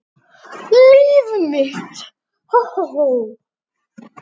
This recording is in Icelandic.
Líf mitt.